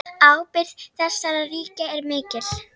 Ábyrgð þessara ríkja er mikil.